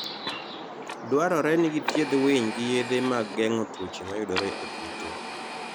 Dwarore ni githiedh winy gi yedhe mag geng'o tuoche mayudore e kute.